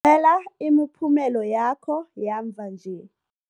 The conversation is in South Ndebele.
ela imiphumela yakho yamva nje.